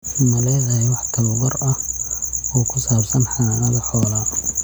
Ma leedahay wax tababar ah oo ku saabsan xanaanada xoolaha?